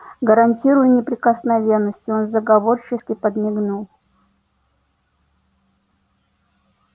гарантирую неприкосновенность и он заговорщически подмигнул